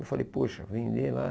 Eu falei, poxa, vender lá?